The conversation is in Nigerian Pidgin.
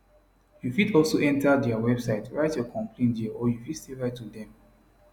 you fit also enta dia website write your complain dia or you fit still write to dem